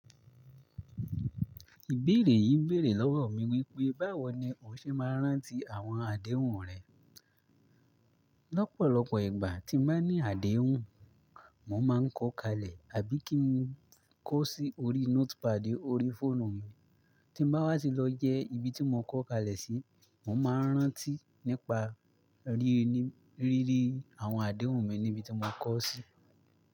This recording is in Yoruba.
Ìbéèrè yìí bèèrè lọ́wọ́ mi wípé, báwo ni o ṣe máa ń rántí àwọn àdéhùn rẹ? Lọ́pọ̀lọ́pọ̀ ìgbà tí mo bá ní àdéhùn, mo máa ń kọ kalẹ̀ àbí kí n kọ sí orí notepad orí fóònù mi. Tí bá wá sí lọ jẹ́ ibi tí mo kọ́ kalẹ̀ sí, mó máa ń rántí nípa ríri àwọn àdéhùn mi níbi tí mó kọ sí.